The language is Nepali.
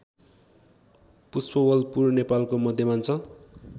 पुष्पवलपुर नेपालको मध्यमाञ्चल